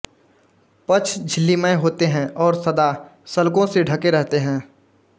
पक्ष झिल्लीमय होते हैं और सदा शल्कों से ढँके रहते हैं